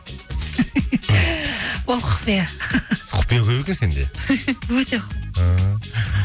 ол құпия құпия көп екен сенде өте